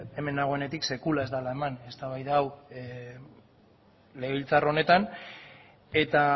hemen nagoenetik sekula ez dela eman eztabaida hau legebiltzar honetan eta